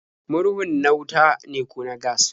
Murhun na wuta ne ko na gas?